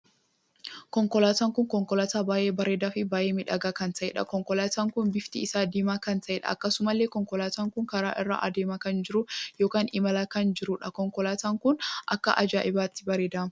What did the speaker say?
Konkolaataan kun konkolaataa baay'ee bareedaa fi baay'ee miidhagaa kan taheedha. konkolaataan kun bifti isaa diimaa kan taheedha. akkasumallee konkolaataan kun karaa irra adeemaa kan jiru ykn imala irraa kan jiruudha. konkolaataa kun akka ajaa'ibaatti bareedaam!